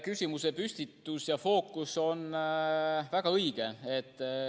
Küsimuse püstitus ja fookus on väga õige.